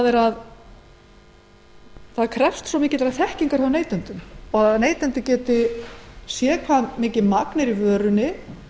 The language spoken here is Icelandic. er að það krefst svo mikillar þekkingar hjá neytendum að skilja hve mikið magn transfitusýra er í vörunni